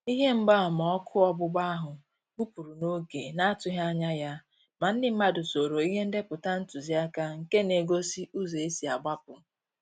Ihe mgba ama ọkụ ọgbụgba áhụ́ gbụ́pụ́rụ̀ n'oge na-àtụ́ghị́ ányà ya, mà ndị mmàdụ̀ soòrò ìhè ndépụ̀tà ntụziaka nké na-égósí ụ́zọ́ ésí àgbapụ